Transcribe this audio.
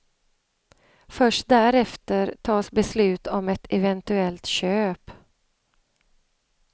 Först därefter tas beslut om ett eventuellt köp.